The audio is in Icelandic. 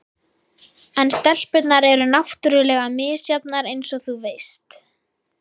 En stelpurnar eru náttúrlega misjafnar eins og þú veist.